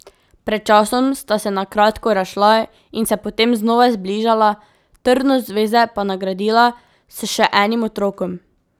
Pred časom sta se na kratko razšla in se potem znova zbližala, trdnost zveze pa nagradila s še enim otrokom.